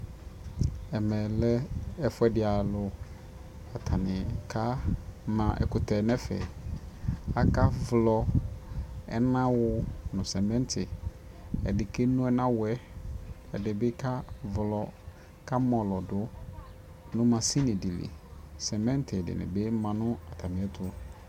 ɛmɛ lɛ ɛƒʋɛdi alʋ kʋ atani ka ma ɛkʋtɛ nʋ ɛƒɛ, aka vlɔ ɛna wʋ nʋ cementi, ɛdi kɛnɔ ɛnawʋɛ, ɛdibi kavlɔ ka mɔlɔdʋ nʋmashinidili, cementi dini bi manʋ atami ɛtʋ